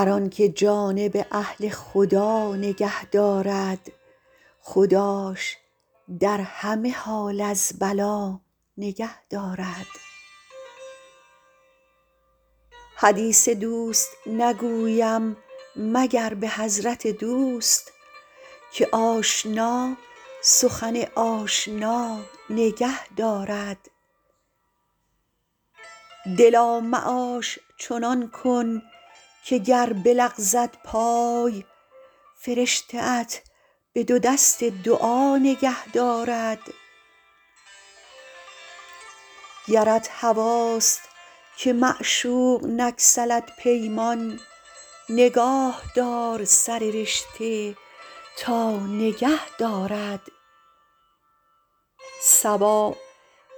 هر آن که جانب اهل خدا نگه دارد خداش در همه حال از بلا نگه دارد حدیث دوست نگویم مگر به حضرت دوست که آشنا سخن آشنا نگه دارد دلا معاش چنان کن که گر بلغزد پای فرشته ات به دو دست دعا نگه دارد گرت هواست که معشوق نگسلد پیمان نگاه دار سر رشته تا نگه دارد صبا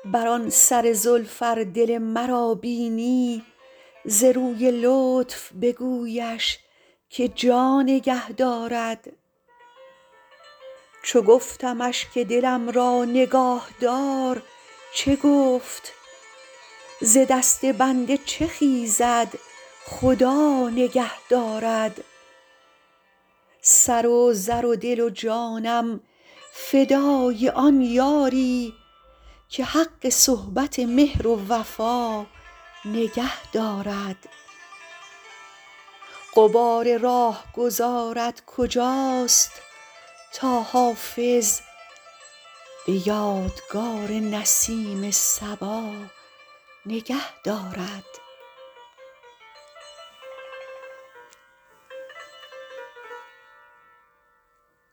بر آن سر زلف ار دل مرا بینی ز روی لطف بگویش که جا نگه دارد چو گفتمش که دلم را نگاه دار چه گفت ز دست بنده چه خیزد خدا نگه دارد سر و زر و دل و جانم فدای آن یاری که حق صحبت مهر و وفا نگه دارد غبار راهگذارت کجاست تا حافظ به یادگار نسیم صبا نگه دارد